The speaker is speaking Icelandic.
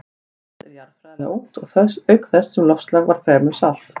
Ísland er jarðfræðilega ungt auk þess sem loftslag er fremur svalt.